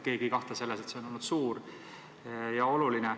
Keegi ei kahtle, et see on olnud suur ja oluline.